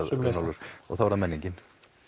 Runólfur og þá er það menningin